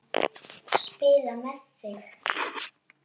Spila með þig?